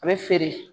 A bɛ feere